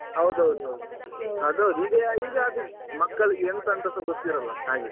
ಹೌದೌದು ಅದ್ ಹೌದು ಈಗ ಅದು ಮಕ್ಕಳಿಗೆ ಎಂತ ಅಂತಸ ಗೊತ್ತಿರಲ್ಲ ಹಾಗೆ.